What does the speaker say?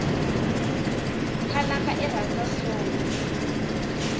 khalanga irhandzwa soul